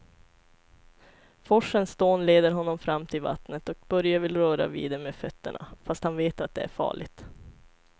Forsens dån leder honom fram till vattnet och Börje vill röra vid det med fötterna, fast han vet att det är farligt.